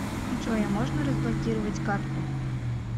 джой а можно разблокировать карту